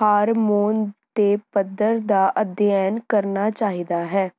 hormone ਦੇ ਪੱਧਰ ਦਾ ਅਧਿਐਨ ਕਰਨਾ ਚਾਹੀਦਾ ਹੈ